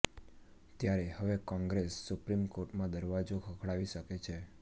ત્યારે હવે કોંગ્રેસ સુપ્રીમ કોર્ટમાં દરવાજો ખખડાવી શકે છે